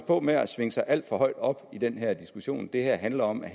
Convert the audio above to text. på med at svinge sig alt for højt op i den her diskussion det her handler om at